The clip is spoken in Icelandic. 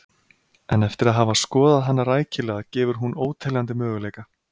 En eftir að hafa skoðað hana rækilega gefur hún óteljandi möguleika.